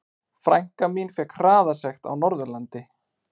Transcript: Frænka mín fékk hraðasekt á Norðurlandi.